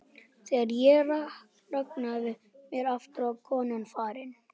Þegar ég rankaði við mér aftur var konan farin.